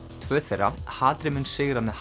tvö þeirra hatrið mun sigra með